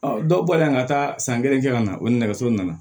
dɔw bɔlen ka taa san kelen kɛ ka na o nɛgɛso nana